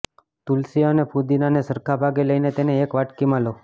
તુલસી અને ફુદીનાને સરખા ભાગે લઈને તેને એક વાડકીમાં લો